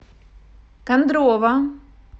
кондрово